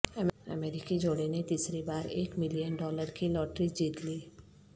امریکی جوڑےنے تیسری بارایک ملین ڈالر کی لاٹری جیت لی